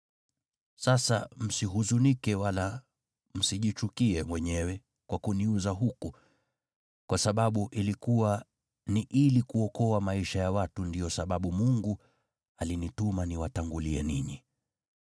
Sasa, msihuzunike wala msijichukie wenyewe kwa kuniuza huku, kwa sababu ilikuwa ni ili kuokoa maisha ya watu ndiyo sababu Mungu alinituma niwatangulie ninyi.